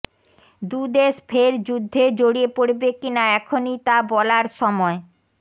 দুদেশ ফের যুদ্ধে জড়িয়ে পড়বে কিনা এখনই তা বলার সময়